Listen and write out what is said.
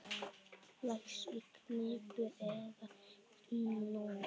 Vex í knippum eða hnúðum.